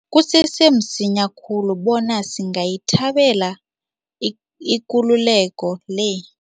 Kusese msinya khulu bona singayithabela ikululeko le.